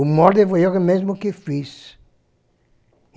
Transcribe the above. O molde fui eu mesmo que fiz.